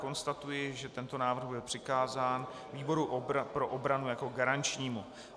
Konstatuji, že tento návrh je přikázán výboru pro obranu jako garančnímu.